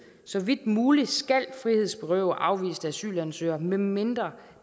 så vidt muligt skal frihedsberøve afviste asylansøgere medmindre